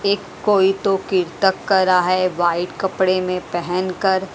एक कोई तो कीर तक करा है व्हाइट कपडे मे पहेनकर।